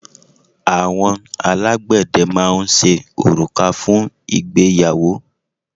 Àwọn alágbẹ̀dẹ máa ń ṣe òrùka fún ìgbéyàwó.